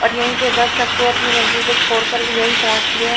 और यही पे बस सबको अपनी मंजिल पर छोड़ कर यही पोचती है।